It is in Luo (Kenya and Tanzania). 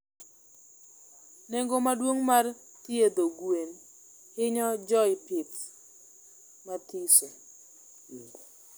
Nengo maduong mar thiedho gwen hinyo joipith mathiso